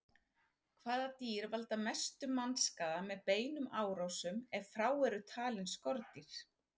Hvaða dýr valda mestum mannskaða með beinum árásum, ef frá eru talin skordýr?